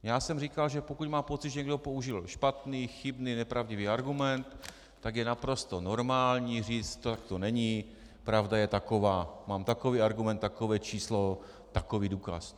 Já jsem říkal, že pokud má pocit, že někdo použil špatný, chybný, nepravdivý argument, tak je naprosto normální říci tak to není, pravda je taková, mám takový argument, takové číslo, takový důkaz.